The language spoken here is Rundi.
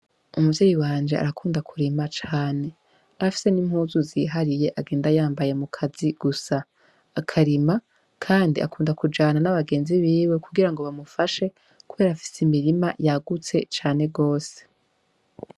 Umuvyeyi wanje arakunda kurima cane afise n'impuzu zihariye agenda yambaye mu kazi gusa akarima, kandi akunda kujana n'abagenzi biwe kugira ngo bamufashe, kubera afise imirima yagutse cane rwose.